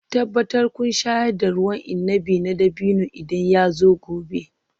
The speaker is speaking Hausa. Tabbatar kun shayar da ruwan inabi na dabino idan yazo gobe